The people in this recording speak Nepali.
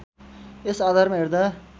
यस आधारमा हेर्दा